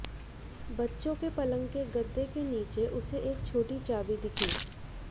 बच्चों के पलंग के गद्य के नीचे उसे एक छोटी चाबी दिखी